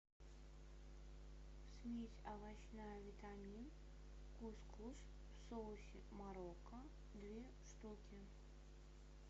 смесь овощная витамин кус кус в соусе марокко две штуки